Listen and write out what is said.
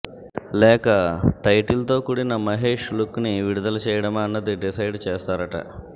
లేక టైటిల్ తో కూడిన మహేష్ లుక్ ని విడుదల చేయడమా అన్నది డిసైడ్ చేస్తారట